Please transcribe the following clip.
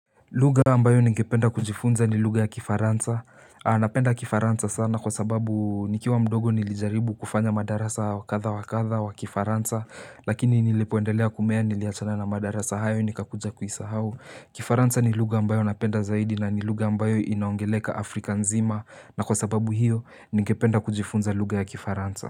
Lugha ambayo ningependa kujifunza ni lugha ya kifaransa napenda kifaransa sana kwa sababu nikiwa mdogo nilijaribu kufanya madarasa kadha wakadha wa kifaransa Lakini nilipoendelea kumea niliachana na madarasa hayo nikakuja kuisahau Kifaransa ni lugha ambayo napenda zaidi na ni lugha ambayo inaongeleka afrika nzima na kwa sababu hiyo ningependa kujifunza lugha ya kifaransa.